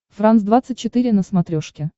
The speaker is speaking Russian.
франс двадцать четыре на смотрешке